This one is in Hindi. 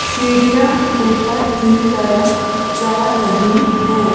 सीढ़ियां ऊपर की तरफ जा रही हैं।